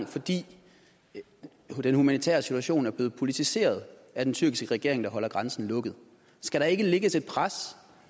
fordi den humanitære situation er blevet politiseret af den tyrkiske regering der holder grænsen lukket skal der ikke lægges et pres